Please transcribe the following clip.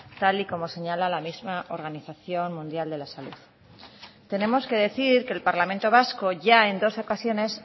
tal y como señala la misma organización mundial de la salud tenemos que decir que el parlamento vasco ya en dos ocasiones